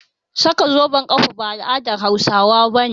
Saka zoben ƙafa ba al'adar Hausawa ba ce